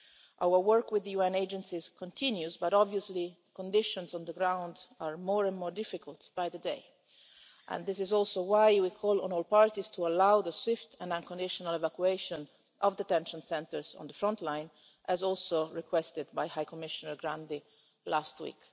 Our work with the UN agencies continues but obviously conditions on the ground are more and more difficult by the day and this is also why we call on all parties to allow the swift and unconditional evacuation of detention centres on the front line, as also requested by High Commissioner Grandi last week.